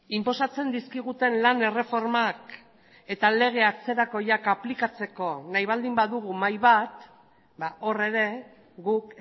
inposatzen dizkiguten lan erreformak eta lege atzerakoiak aplikatzeko nahi baldin badugu mahai bat hor ere guk